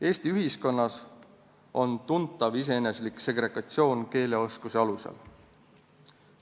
Eesti ühiskonnas on tuntav iseeneslik segregatsioon keeleoskuse alusel.